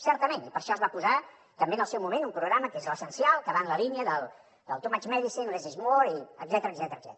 certament i per això es va posar també en el seu moment un programa que és l’essencial que va en la línia del too much medicine less is more etcètera